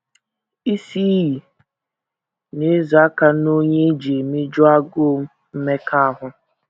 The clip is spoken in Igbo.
“ Isi iyi, ” na - ezo aka n’onye e ji emeju agụụ mmekọahụ.